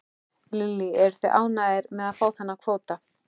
Lillý: Eruð þið ánægðir með að fá þennan kvóta?